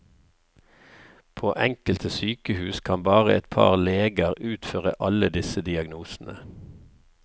På enkelte sykehus kan bare et par leger utføre alle disse diagnosene.